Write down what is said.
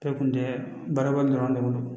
Bɛɛ kun tɛ baara wɛrɛ dɔrɔn de bolo